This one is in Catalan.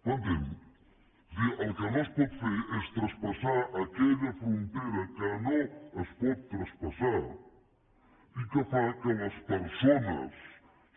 m’entén és a dir el que no es pot fer és traspassar aquella frontera que no es pot traspassar i que fa que les persones